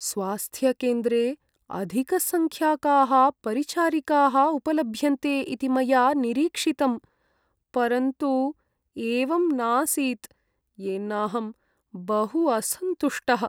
“स्वास्थ्यकेन्द्रे अधिकसङ्ख्याकाः परिचारिकाः उपलभ्यन्ते इति मया निरीक्षितं, परन्तु एवं नासीत्, येनाहं बहु असन्तुष्टः”।